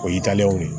O y'i talew ye